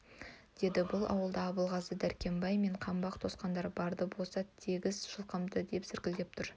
деді бұл ауылда абылғазы дәрқембай мен қаңбақ тоқсандар бар-ды босат тегіс жылқымды деп зіркілдеп тұр